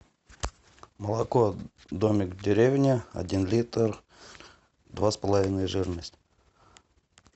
молоко домик в деревне один литр два с половиной жирность